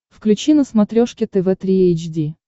включи на смотрешке тв три эйч ди